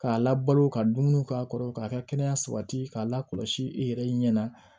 K'a labalo ka dumuni k'a kɔrɔ k'a ka kɛnɛya sabati k'a lakɔlɔsi i yɛrɛ ɲɛna